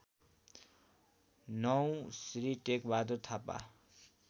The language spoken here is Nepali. ९ श्री टेकबहादुर थापा